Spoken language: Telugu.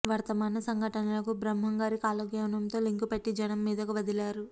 వర్తమాన సంఘటనలకు బ్రహ్మం గారి కాలజ్ఞానంతో లింకు పెట్టి జనం మీదకు వదిలారు